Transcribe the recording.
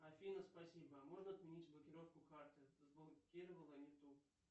афина спасибо можно отменить блокировку карты заблокировала не ту